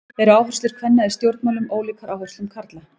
Eru áherslur kvenna í stjórnmálum ólíkar áherslum karla?